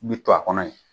Bi to a kɔnɔ yen